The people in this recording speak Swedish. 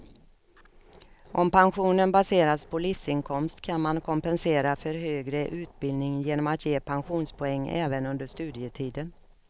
Om pensionen baseras på livsinkomst kan man kompensera för högre utbildning genom att ge pensionspoäng även under studietiden.